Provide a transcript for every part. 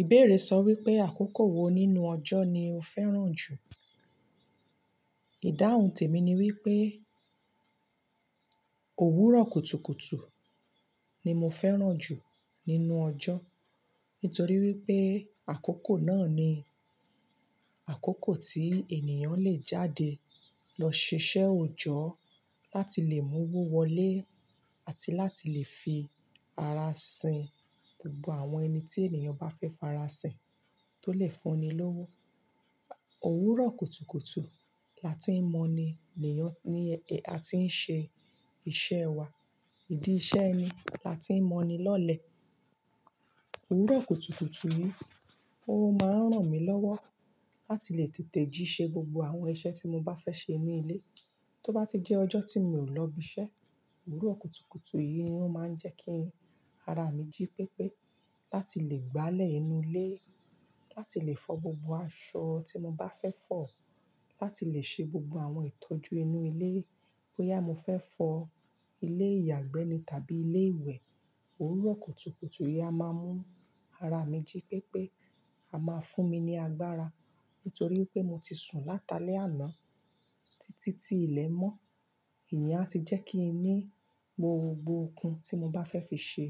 Ìbéèrè sọ wípé àkókò wo nínú ọjọ́ ni o fẹ́ràn jù. Ìdáhùn tèmi ni wípé òwúrọ̀ kùtùkùtù ni mo fẹ́ràn jù nínú ọjọ́. Nítorí wípé àkókò náà ni àkókò tí ènìyàn le jáde lọ ṣiṣẹ́ òojọ́ láti lè mú owó wọlé àti láti lè fi ara sìn gbogbo àwọn ẹni tí ènìyàn bá fẹ́ fara sìn tó lè fún ni lówó. Òwúrọ̀ kùtùkùtù láti ń mọni leyàn ni a ti ń ṣe iṣẹ́ wa. Ìdí iṣẹ́ ni láti ń mọni lọ́lẹ̀. Òwúrọ̀ kùtùkùtù yìí, ó máa ń ràn mí lọ́wọ́ láti lè tètè jí ṣe gbogbo àwọn iṣẹ́ tí mo bá fẹ́ ṣe ní ilé. Tó bá ti jẹ́ ọjọ́ tí mi ò lọ ibi iṣẹ́, òwúrọ̀ kùtùkùtù yìí ni ó máa ń jẹ́ kí ara mi jí pépé láti lè gbálẹ̀ inú ilé, láti lè fọ gbogbo aṣọ tí mo bá fẹ́ fọ, láti lè ṣe gbogbo àwọn ìtọ́jú inú ilé. Bo ya mó fẹ́ fọ ilé ìyàgbẹ́ ni tàbí ilé ìwẹ̀, òwúrọ̀ kùtùkùtù yìí á máa mú ara mi jí pépé a má fún mi ní agbára. Nítorí pé mo ti sun látalẹ́ àná títí tí ilẹ̀ mọ́. Íyen a ti jẹ́ kí ní gbogbo okun tí mo bá fẹ́ fi ṣe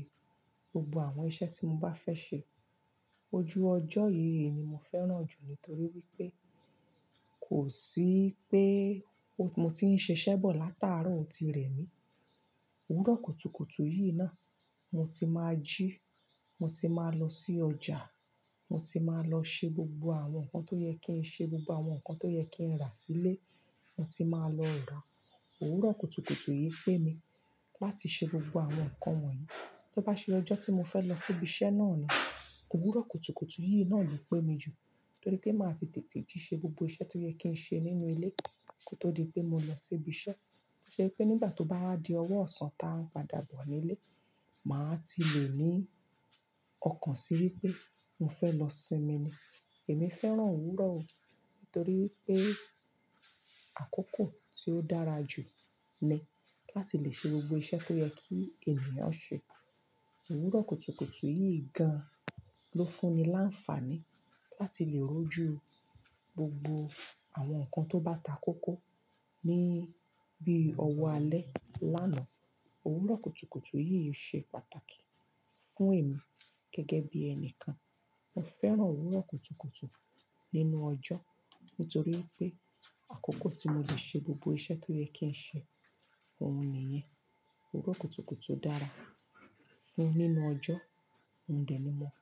gbogbo àwọn iṣẹ́ tí mo bá fẹ́ ṣe. Ojú ọjọ́ yìí ni mo fẹ́ràn jù nítorí wípé kò sí pé mo ti ń ṣiṣẹ́ bọ̀ látàárọ̀ oti rẹ mí. Òwúrọ̀ kùtùkùtù yìí náà mo ti máa jí, mo ti máa lọ sí ọjà, mo ti máa lọ ṣe gbogbo àwọn nǹkan tó yẹ kí n ṣe, gbogbo àwọn nǹkan tó yẹ kí n rà sílé, mo ti máa lọ rà. Òwúrọ̀ kùtùkùtù yìí pẹ́ mi láti ṣe gbogbo àwọn nǹkan wọ̀nyí. Tó bá ṣe ọjọ́ tí mo fẹ́ lọ sí ibi iṣẹ́ náà ni òwúrọ̀ kùtùkùtù yìí náà le pẹ́ mi jù nítorí pé màá ti tètè jí ṣe gbogbo iṣẹ́ tó yẹ kí n ṣe nínú ilé kí ó tó di pé mo lọ sí ibi iṣẹ́. Ó ṣe pé nígbà tó bá wá di ọwọ́ ọ̀sán ta ń padà bọ̀ nílé, màá ti lè ní ọkàn sí wípé mo fẹ́ lọ sinmi ni. Èmi fẹ́ràn òwúrọ̀ o nítorí pé àkókò tí ó dára jù ni láti lè ṣe gbogbo iṣẹ́ tó yẹ kí ènìyàn ṣe. Òwúrọ̀ kùtùkùtù yìí gan lọ fún ni láǹfààní láti lè rojú gbogbo àwọn nǹkan tó bá takókó ní bíi ọwọ́ alẹ́ lánàá. Òwúrọ̀ kùtùkùtù yìí ṣe pàtàkì fún èmi gẹ́gẹ́ bí ẹni kan. Mo fẹ́ràn òwúrọ̀ kùtùkùtù nínú ọjọ́ nítorí pé àkókò tí mo lè ṣe gbogbo iṣẹ́ tó yẹ kí n ṣe, òun nìyẹn. Òwúrọ̀ kùtùkùtù dára fún nínú ọjọ́, mo dẹ̀ ní mọ́.